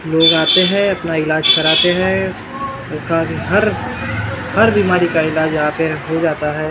लोग आते हैं अपना इलाज कराते हैं उनका भी हर हर बिमारी का इलाज हो जाता है ।